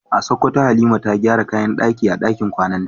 A Sokoto Halima ta gyara kayan daki a dakin kwananta.